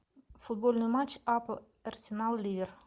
футбольный матч апл арсенал ливер